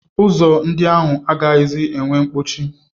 Ụzọ ndị ahụ agaghịzi enwe nkpọchi.